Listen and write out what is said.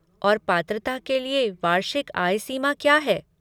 और पात्रता के लिए वार्षिक आय सीमा क्या है?